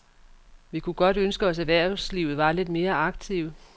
Vi kunne godt ønske os erhvervslivet var lidt mere aktive.